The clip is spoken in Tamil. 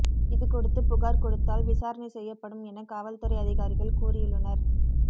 இதுகொடுத்து புகார் கொடுத்தால் விசாரணை செய்யப்படும் என காவல்துறை அதிகாரிகள் கூறியுள்ளனர்